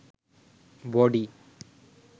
body